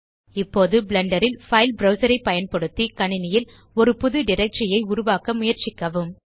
இப்போது பிளெண்டர் ல் file browser ஐ பயன்படுத்தி கணினியில் ஒரு புது டைரக்டரி ஐ உருவாக்க முயற்சிக்கவும்